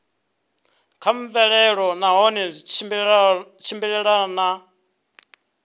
kha mvelelo nahone zwi tshimbilelana